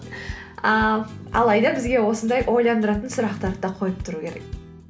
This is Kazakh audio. ыыы алайда бізге осындай ойландыратын сұрақтарды да қойып тұру керек